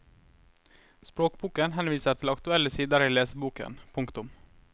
Språkboken henviser til aktuelle sider i leseboken. punktum